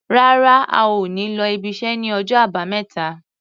Rárá, a ò ní lọ ibiṣẹ́ ní ọjọ́ Àbámẹ́ta.